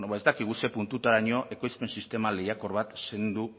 ez dakigu ze puntutaraino ekoizpen sistema lehiakor bat zendu